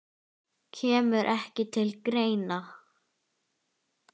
Kemur ekki til greina